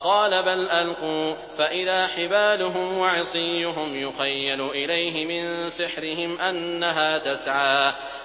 قَالَ بَلْ أَلْقُوا ۖ فَإِذَا حِبَالُهُمْ وَعِصِيُّهُمْ يُخَيَّلُ إِلَيْهِ مِن سِحْرِهِمْ أَنَّهَا تَسْعَىٰ